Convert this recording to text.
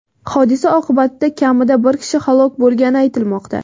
Hodisa oqibatida kamida bir kishi halok bo‘lgani aytilmoqda .